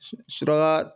Suraka